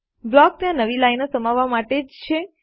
block ત્યાં નવી લાઇનો સમાવવા માટે જ છે